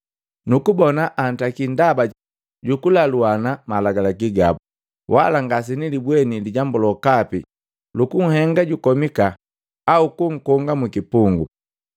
Nukubona antaki ndaba jukulaluana malagalaki gabu, wala ngasenilibweni lijambu lokapi lukunhenga jukomika au kukonga mukipungu.